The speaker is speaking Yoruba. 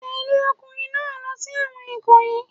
Tẹ̀lẹ́ ọkùnrin náà lọ sí ẹ̀wọ̀n Ikoyi.